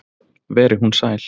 Veri hún sæl.